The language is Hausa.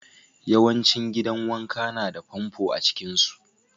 Yawancin gidan wanka na da famfo a cikin su.